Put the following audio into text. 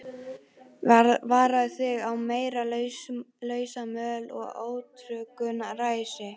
Varaðu þig á meiri lausamöl og ótryggu ræsi.